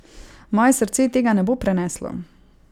Moje srce tega ne bo preneslo.